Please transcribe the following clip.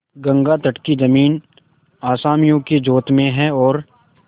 गंगातट की जमीन असामियों के जोत में है और